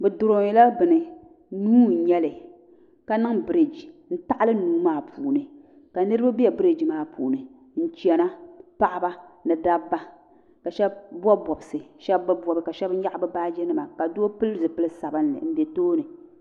Bɛ durɔnyila bɛni nuu n-nyɛ li ka niŋ bɛrigi n-taɤili nuu maa puuni ka niriba be bɛrigi maa puuni n-chana paɤiba in dabba ka shɛba bɔbi bɔbisi ka shɛba bi bɔbi shɛba nyaɤi bɛ baaginima ka doo pili zipil'sabinli m-be tooni